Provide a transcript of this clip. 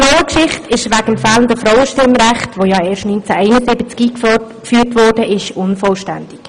Die Schweizer Frauengeschichte ist wegen des fehlenden Frauenstimmrechts, das ja erst 1971 eingeführt wurde, unvollständig.